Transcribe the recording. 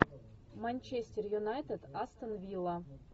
манчестер юнайтед астон вилла